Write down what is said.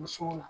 Musow